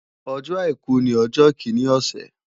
Ọjọ́ àìkú ní ọjọ́ kíní ọ̀sẹ̀